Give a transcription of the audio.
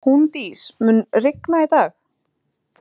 Húndís, mun rigna í dag?